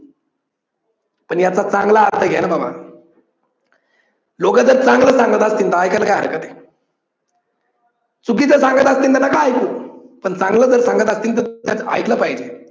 पण याचा चांगला अर्थ घ्या ना बाबानो! लोक जर चांगल सांगत असतील तर ऐकायला काय हरकत आहे. चुकीच सांगत असतील तर नका ऐकू पण चांगलं जर सांगत असतील तर त्यांचं ऐकलं पाहिजे.